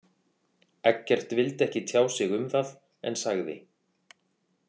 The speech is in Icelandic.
Eggert vildi ekki tjá sig um það en sagði.